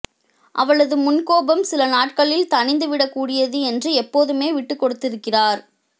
அவளது முன்கோபம் சில நாட்களில் தணிந்துவிடக்கூடியது என்று எப்போதுமே விட்டு கொடுத்திருக்கிறார்